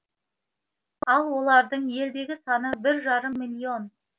ал олардың елдегі саны бір жарым миллион